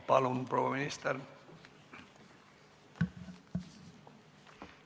Palun, proua minister!